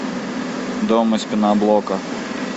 дом из пеноблока